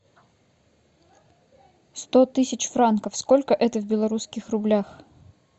сто тысяч франков сколько это в белорусских рублях